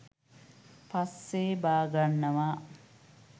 පස්සේ බාගන්නවා